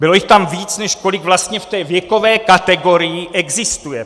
Bylo jich tam víc , než kolik vlastně v té věkové kategorii existuje!